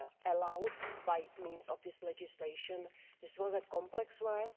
allowed by means of this legislation. This was complex work.